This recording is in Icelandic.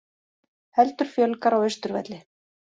Heldur fjölgar á Austurvelli